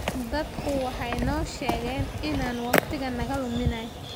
Dadku waxay noo sheegeen inaan waqtiga naga luminay.